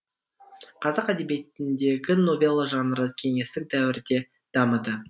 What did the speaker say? қазақ әдебиетіндегі новелла жанры кеңестік дәуірде дамыды